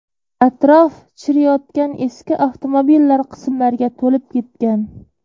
Atrof chiriyotgan eski avtomobillar qismlariga to‘lib ketgan.